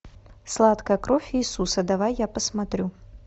сладкая кровь иисуса давай я посмотрю